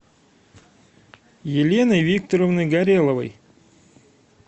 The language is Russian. еленой викторовной гореловой